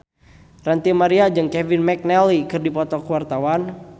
Ranty Maria jeung Kevin McNally keur dipoto ku wartawan